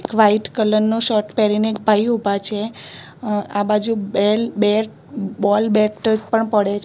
white colour નો shirt પહેરીને એક ભાઈ ઊભા છે આ બાજુ બેલ બે બોલ બેટ પણ પડે--